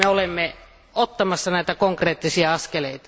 Olemme nyt ottamassa näitä konkreettisia askeleita.